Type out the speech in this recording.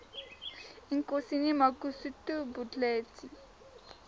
inkosi mangosuthu buthelezi